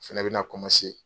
Fɛnɛ bɛna